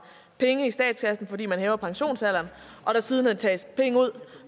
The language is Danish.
penge i statskassen fordi man hæver pensionsalderen og der siden tages penge ud